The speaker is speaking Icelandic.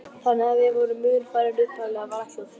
Þannig að við vorum mun færri en upphaflega var ætlað.